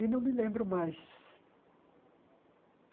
E não me lembro mais.